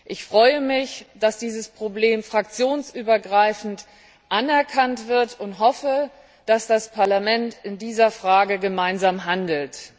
Ich freue mich, dass dieses Problem fraktionsübergreifend anerkannt wird, und hoffe, dass das Parlament in dieser Frage gemeinsam handelt.